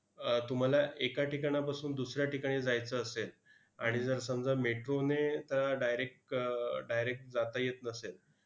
अह तुम्हाला एका ठिकाणापासून दुसऱ्या ठिकाणी जायचं असेल, आणि जर समजा metro ने त direct direct जाता येत नसेल,